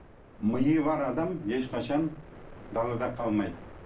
миы бар адам ешқашан далада қалмайды